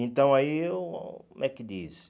Então aí eu, como é que diz?